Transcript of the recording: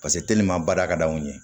Paseke baara ka d'anw ye